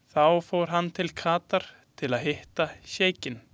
Þá fór hann til Katar til að hitta sjeikinn.